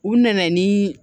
U nana ni